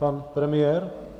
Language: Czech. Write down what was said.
Pan premiér?